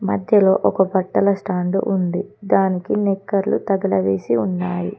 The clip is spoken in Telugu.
మధ్యలో ఒక బట్టల స్టాండు ఉంది దానికి నిక్కర్లు తగలవేసి ఉన్నాయి.